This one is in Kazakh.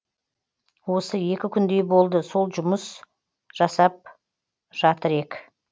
осы екі күндей болды сол жұмыс жұмыс жасап жатыр ек